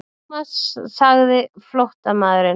Thomas sagði flóttamaðurinn.